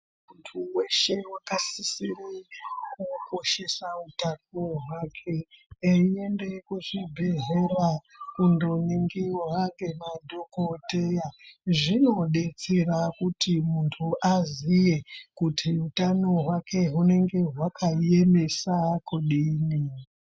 Muntu wese wakasisire kukoshesa utano hwake, eiende kuchibhedhlera kundoringirwa ngemadhogodheya. Zvinodetsera kuti muntu aziye kuti hutano hwake, hwunenge hwakaemesa kudini.